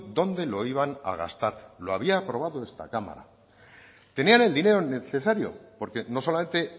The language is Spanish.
dónde lo iban a gastar lo había aprobado esta cámara tenían el dinero necesario porque no solamente